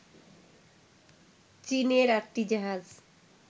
চীনের আটটি জাহাজ